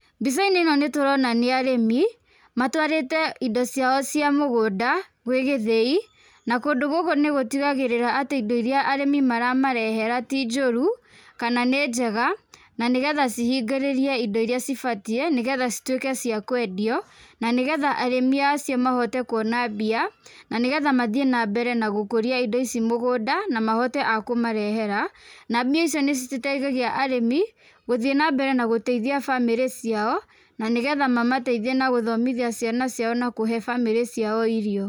Mbicainĩ ĩno nĩtũrona nĩ arĩmi. Matũarĩte indo ciao cia mũgũnda gwĩ gĩthĩi, na kũndũ gũkũ nĩgutigagĩrĩra atĩ indo iria arĩmi maramarehera ti njũru kana nĩ njega na nĩgetha cihingũrĩrie indo iria cibatie nĩgetha cituĩke cia kwendio. Na nĩgetha arĩmi acio mahote kuona mbia na nĩgetha mathiĩ na mbere na gũkũrĩa indo ici mũgũnda na mahote a kũmarehera. Na mbia icio nĩciteithagia arĩmi gũthiĩ na mbere na gũteithia bamĩrĩ ciao na nĩgetha mamateithie na gũthomithia ciana ciao na kũhe bamĩrĩ ciao irio.